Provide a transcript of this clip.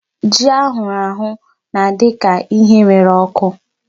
Ji a hụrụ ahụ na-adị ka ihe rere ọkụ.